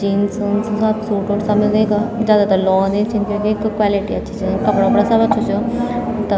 जिन्स उन्स सब सूट उट सब मिलदा यख जादातर लोग इन छ क्यूकी क्वालिटी अच्छी च कपड़ा उपड़ा सब अछू च तब --